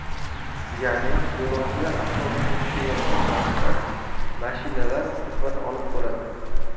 Ya’ni yo‘lovchilar avtobusdan tushayotgan vaqtda mashinalar quvvat olib bo‘ladi.